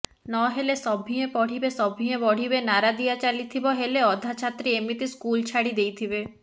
ନହେଲେ ସଭିଏ ପଢ଼ିବେ ସଭିଏ ବଢ଼ିବେ ନାରା ଦିଆଚାଲିଥିବ ହେଲେ ଅଧା ଛାତ୍ରୀ ଏମିତି ସ୍କୁଲ ଛାଡି ଦେଇଥିବେ